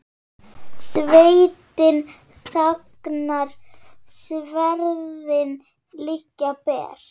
Sveitin þagnar, sverðin liggja ber.